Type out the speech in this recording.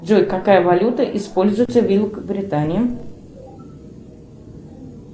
джой какая валюта используется в великобритании